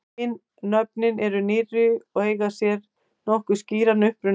Hin nöfnin eru nýrri og eiga sér nokkuð skýran uppruna.